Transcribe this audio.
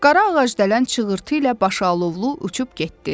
Qara ağacdələn çığırtı ilə başı alovlu uçub getdi.